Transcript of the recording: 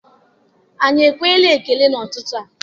Anyi ekwela ekele na ututu a?